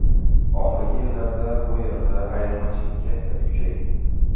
Oxirgi yillarda bu yerda ayirmachilik kayfiyati kuchaygan.